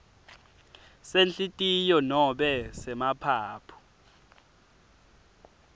senhlitiyo nobe semaphaphu